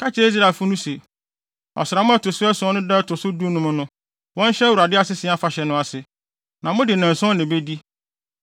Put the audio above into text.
“Ka kyerɛ Israelfo se, ‘Ɔsram a ɛto so ason no da a ɛto so dunum no, wɔnhyɛ Awurade Asese Afahyɛ no ase, na mode nnanson na ebedi.